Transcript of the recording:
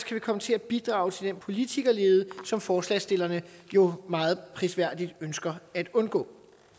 vi komme til at bidrage til den politikerlede som forslagsstillerne jo meget prisværdigt ønsker at undgå